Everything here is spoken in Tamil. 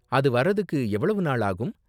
அது வரதுக்கு எவ்வளவு நாள் ஆகும்?